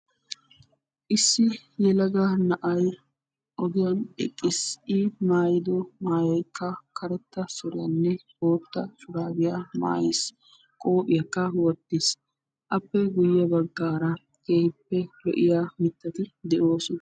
issi yelaga na'ay oogiyaan eqqiis. i maayido maayoy karetta suuriyaanne bootta shurraabiyaa maayiis. Qoophiyaaka wottiis. Appe guyye baggaara keehippe lo'iyaa mittati de"oosona.